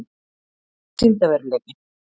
Hvað er sýndarveruleiki?